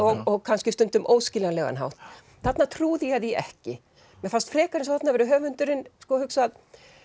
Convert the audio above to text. og kannski stundum óskiljanlegan hátt þarna trúði ég því ekki mér fannst frekar að þarna hefði höfundurinn hugsað